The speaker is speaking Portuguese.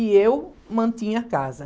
E eu mantinha a casa.